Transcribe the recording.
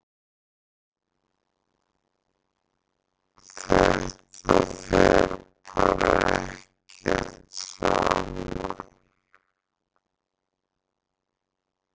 Þetta fer bara ekkert saman.